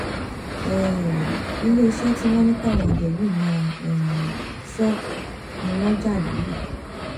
um iléeṣẹ tí wọn ní káwọn òde yìí máa um sọ ni wọn jà lọlẹ